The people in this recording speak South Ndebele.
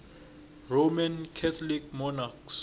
roman catholic monarchs